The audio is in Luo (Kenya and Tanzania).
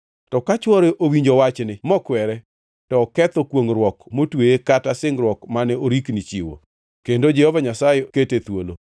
To ka chwore owinjo wachni mokwere, to oketho kwongʼruok motweye kata singruok mane orikni chiwo, kendo Jehova Nyasaye kete thuolo.